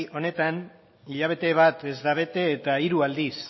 honetan hilabete bat ez da bete eta hiru aldiz